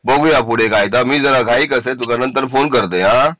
बघूया पुढे काय आता मी जरा घाईत असता तुला नंतर फोन करतय आ